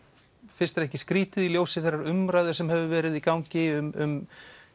finnst þér ekki skrýtið í ljósi þeirrar umræðu sem hefur verið í gangi um